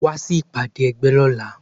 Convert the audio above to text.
Wá sí ìpàdé ẹgbẹ́ lọ́la.